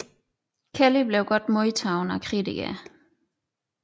Kelly blev godt modtaget af kritikerne